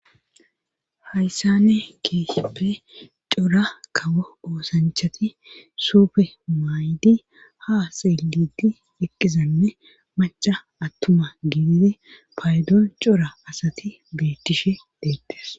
Hayssane keeseppe cora kawo oosanchati suufe maydi ha seeliti eqqizanne maca attuma gidide paydoon cora asati beettishe deettes